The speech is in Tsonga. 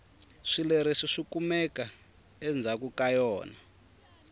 swileriso swikumeka endzhaku ka yona